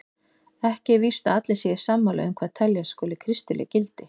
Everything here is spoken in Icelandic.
Ekki er víst að allir séu sammála um hvað teljast skuli kristileg gildi.